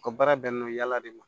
U ka baara bɛnnen don yala de ma